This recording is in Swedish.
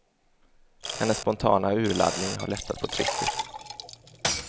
Hennes spontana urladdning har lättat på trycket.